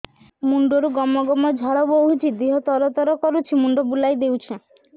ମୁଣ୍ଡରୁ ଗମ ଗମ ଝାଳ ବହୁଛି ଦିହ ତର ତର କରୁଛି ମୁଣ୍ଡ ବୁଲାଇ ଦେଉଛି